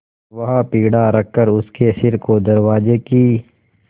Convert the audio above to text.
वहाँ पीढ़ा रखकर उसने सिर को दरवाजे की